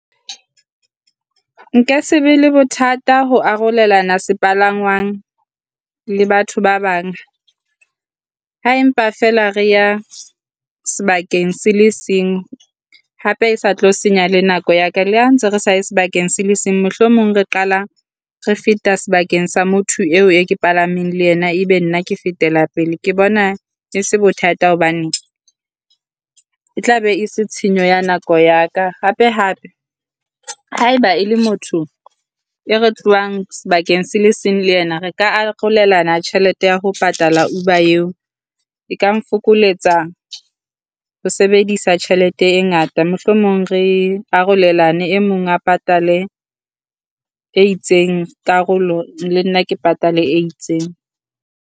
Nka se be le bothata ho arolelana sepalangwang le batho ba bang, Ha empa feela re ya sebakeng se se ngwe. Hape e sa tlo senya le nako ya ka le ha ntse re sa ye sebakeng se le seng, mohlomong re qala re feta sebakeng sa motho eo e palameng le yena e be nna ke fetela pele. Ke bona e se bothata hobane e tla be e se tshenyo ya nako ya ka hape Hape haeba e le motho e re tlohang sebakeng se le seng le yena re ka arolelana tjhelete ya ho patala Uber eo. E ka nfokoletsa ho sebedisa tjhelete e ngata mohlomong re arolelane e mong a patale e itseng karolo le nna ke patale e itseng.